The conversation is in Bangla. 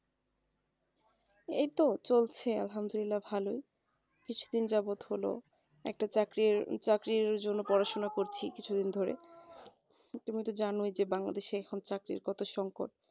এই তো চলছে আলহামদুলিল্লা ভালোই কিছুদিন যাবৎ হলো একটা চাকরির চাকরির জন্য পড়াশোনা করছে কিছুদিন ধরে তুমি তো জানোই Bangladesh এ এখন চাকরির কথা সংকট